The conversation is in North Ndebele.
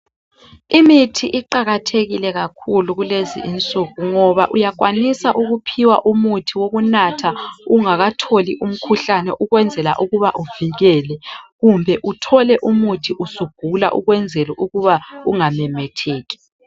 Imithi iqakathekile kakhulu kulezinsuku ngoba uyakwanisa ukuphiwa umuthi wokunatha ungakatholi umkhuhlane ukwenzela ukuba uvikele kumbe uthole umuthi usugula ukwenzela ukuba ungamemetheki.